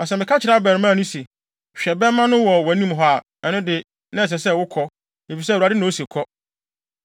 Na sɛ meka kyerɛ abarimaa no se, ‘Hwɛ, bɛmma no wɔ wʼanim’ a, ɛno de, na ɛsɛ sɛ wokɔ, efisɛ Awurade na ose kɔ.